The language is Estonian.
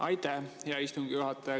Aitäh, hea istungi juhataja!